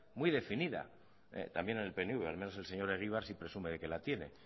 muy definida también en el pnv al menos el señor egibar sí presume de que la tiene